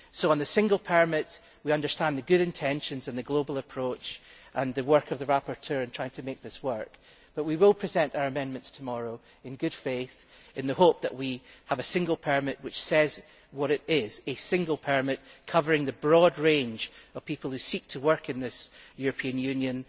So on the single permit, we understand the good intentions and the global approach and the work of the rapporteur in trying to make this work, but we will present our amendments tomorrow in good faith in the hope that we can obtain a single permit which says what it is a single permit covering the broad range of people who seek to work in this European Union.